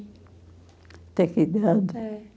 Até que idade? É.